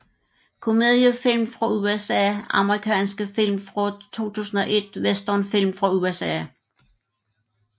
Komediefilm fra USA Amerikanske film fra 2001 Westernfilm fra USA